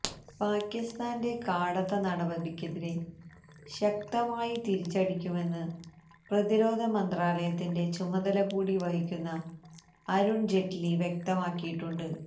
പാക്കിസ്ഥാന്റെ കാടത്ത നടപടിക്കെതിരെ ശക്തമായി തിരിച്ചടിക്കുമെന്ന് പ്രതിരോധ മന്ത്രാലയത്തിന്റെ ചുമതല കൂടി വഹിക്കുന്ന അരുണ് ജെയ്റ്റ്ലി വ്യക്തമാക്കിയിട്ടുണ്ട്